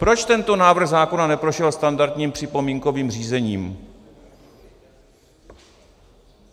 Proč tento návrh zákona neprošel standardním připomínkovým řízením?